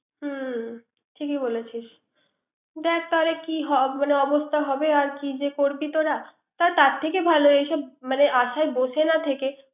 হুম ঠিক ই বলেছিস। দেক কি হবে এমন অবস্থা হবে আর কি যে করবি তোরা। তার থেকে ভালো এসব মানে আশায় বসে না থেকে